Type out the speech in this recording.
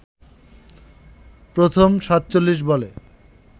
প্রথম ৪৭ বলে